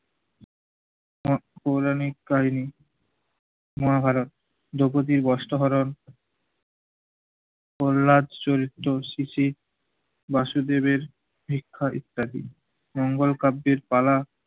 ও পৌরাণিক কাহিনী, মহাভারত, দ্রোপদীর বস্ত্র হরণ, প্রল্লাদ চরিত্র শিশির, বাসুদেবের ভিক্ষা ইত্যাদি। মঙ্গল কাব্যের তালা,